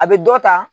A bɛ dɔ ta